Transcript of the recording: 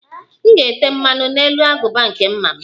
M ga-ete mmanụ n'elu agụba nke mma m